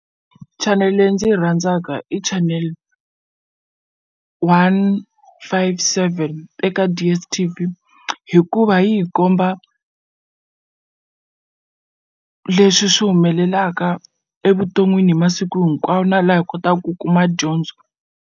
Chanel leyi ndzi yi rhandzaka i chanel one five seven eka DSTV hikuva yi hi komba leswi swi humelelaka evuton'wini hi masiku hinkwawo na laha hi kotaku ku kuma dyondzo.